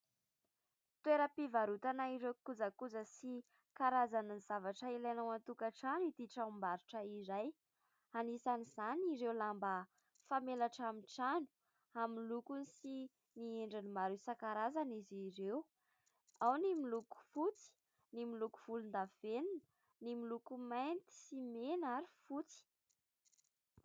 Toeram-pivarotana ireo kojakoja sy karazana zavatra ilaina ao an-tokantrano ity tranom-barotra iray, anisan'izany ireo lamba famelatra amin'ny trano amin'ny lokony sy ny endriny maro isankarazany izy ireo, ao ny miloko fotsy, ny miloko volondavenona, ny miloko mainty sy mena ary fotsy.